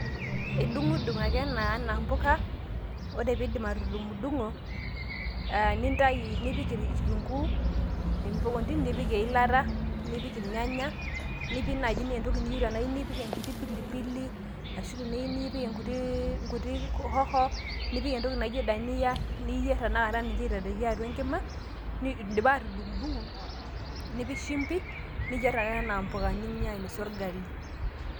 Edung' edung' ake ena enaa empuka, ore pee iidip atudung'odung'o aa nipik kitunkuu nipik eilata aa nipik irnyanya nipik naii enaa entoki niyieu nipik enaa enkiti pilipili ashu teniyieu nipik enkiti hoho nipik entoki naijio Dania nipik taata ayierrr aitadoiki atua enkima, edipa atudung'odung'o nipik shumpi niyierr ake enaa mpuka ninya ainosie orgali.